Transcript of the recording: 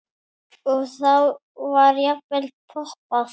Og þá var jafnvel poppað.